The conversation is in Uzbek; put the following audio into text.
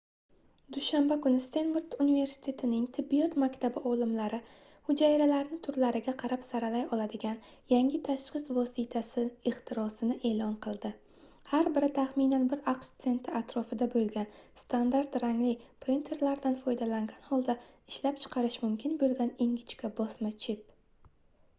dushanba kuni stenford universitetining tibbiyot maktabi olimlari hujayralarni turlariga qarab saralay oladigan yangi tashxis vositasi ixtirosini eʼlon qildi har biri taxminan bir aqsh senti atrofida boʻlgan standart rangli printerlardan foydalangan holda ishlab chiqarish mumkin boʻlgan ingichka bosma chip